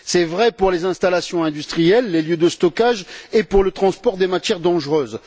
C'est vrai pour les installations industrielles, les lieux de stockage et pour le transport des matières dangereuses.